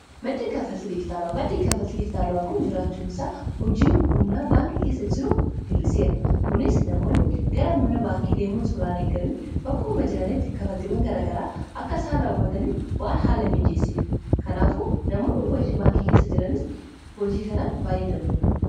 maddii kafalti dijitaala'aa kun jiraachuun isaa hojii humnaa baankii keessa jiru hirriseera kunis namoonni gara mana baankii deemoon soraan eegamiin bakkumama jiranitti kafaltiwwan garagaraa akka isaan raawwataniif waan haala miijeessiif kanaafu namoonni hojii baankii keessa jiranis hojii kanaan baay'ee gammadu